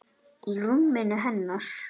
Í rúminu hennar.